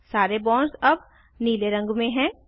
सारे बॉन्ड्स अब नीले रंग में हैं